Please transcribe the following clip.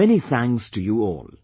Many thanks to you all